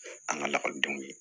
An ka lakɔlidenw ye